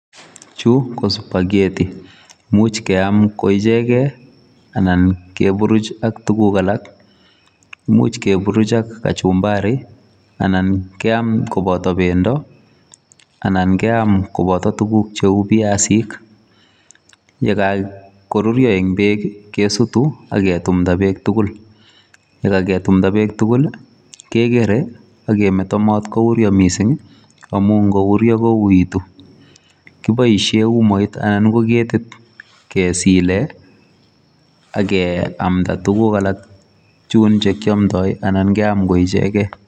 Chu ko spagheti imuch keam koiechegen anan keburuch ak tuguk alak. Imuch keburuch ak kachumbari anan keam koboto bendo anan keam koboto tuguk cheu biasinik. Ye kagoruryo en beek ii kesutu ak ketumda beek tugul. Ye kagetumda beek tugul kegere ak kimeto mot kouuryo mising amun ngouryo kouegitu. Kiboishe umoit anan ko ketit kesile ageamda tuguk alak chun che kiamdoi anan keam koik ichegen.